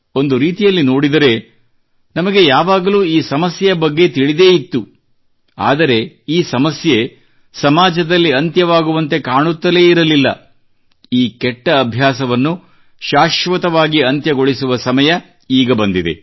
ಒಂದು ರೀತಿಯಲ್ಲಿ ನೋಡಿದರೆ ನಮಗೆ ಯಾವಾಗಲೂ ಈ ಸಮಸ್ಯೆಯ ಬಗ್ಗೆ ತಿಳಿದೇ ಇತ್ತು ಆದರೆ ಈ ಸಮಸ್ಯೆ ಸಮಾಜದಲ್ಲಿ ಅಂತ್ಯವಾಗುವಂತೆ ಕಾಣುತ್ತಲೇ ಇರಲಿಲ್ಲ ಈ ಕೆಟ್ಟ ಅಭ್ಯಾಸವನ್ನು ಶಾಶ್ವತವಾಗಿ ಅಂತ್ಯಗೊಳಿಸುವ ಸಮಯ ಈಗ ಬಂದಿದೆ